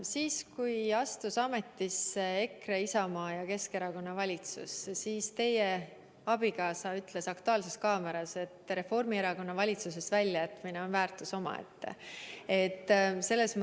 Siis kui astus ametisse EKRE, Isamaa ja Keskerakonna valitsus, ütles teie abikaasa "Aktuaalses kaameras", et Reformierakonna valitsusest väljajätmine on väärtus omaette.